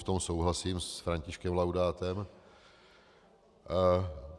V tom souhlasím s Františkem Laudátem.